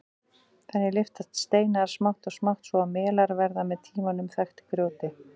Þannig lyftast steinar smátt og smátt svo að melar verða með tímanum þaktir grjóti.